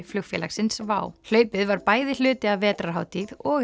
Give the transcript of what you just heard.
flugfélagsins WOW hlaupið var bæði hluti af vetrarhátíð og